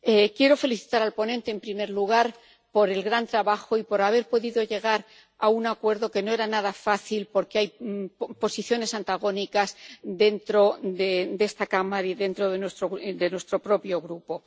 Quiero felicitar al ponente, en primer lugar, por el gran trabajo y por haber podido llegar a un acuerdo que no era nada fácil, porque hay posiciones antagónicas dentro de esta Cámara y dentro de nuestro propio grupo.